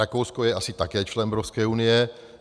Rakousko je asi také člen Evropské unie.